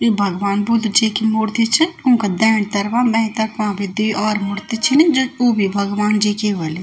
इ भगवन बुद्ध जी की मूर्ति च उनका देण तरफा बेण तरफा भी दुइ और मूर्ति चिन जू उ भी भगवन जी की हुली।